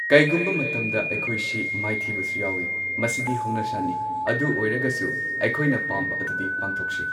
ꯀꯩꯒꯨꯝꯕ ꯃꯇꯝꯗ ꯑꯩꯈꯣꯏꯁꯤ ꯃꯥꯏꯊꯤꯕꯁꯨ ꯌꯥꯎꯋꯦ ꯃꯁꯤꯗꯤ ꯍꯧꯅꯁꯥꯅꯤ ꯑꯗꯨ ꯑꯣꯏꯔꯒꯁꯨ ꯑꯩꯈꯣꯏꯅ ꯄꯥꯝꯕ ꯑꯗꯨꯗꯤ ꯄꯥꯡꯊꯣꯛꯁꯤ꯫